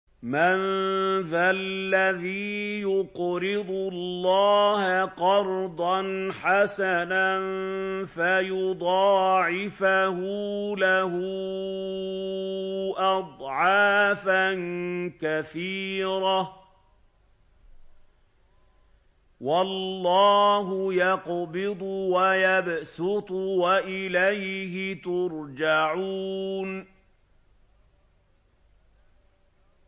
مَّن ذَا الَّذِي يُقْرِضُ اللَّهَ قَرْضًا حَسَنًا فَيُضَاعِفَهُ لَهُ أَضْعَافًا كَثِيرَةً ۚ وَاللَّهُ يَقْبِضُ وَيَبْسُطُ وَإِلَيْهِ تُرْجَعُونَ